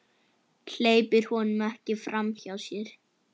Hleypir honum ekki framhjá sér.